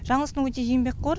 жаңылсын өте еңбекқор